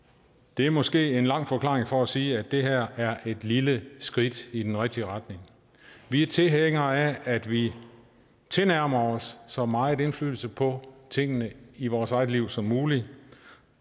det er måske en lang forklaring for at sige at det her er et lille skridt i den rigtige retning vi er tilhængere af at vi tilnærmer os at så meget indflydelse på tingene i vores eget liv som muligt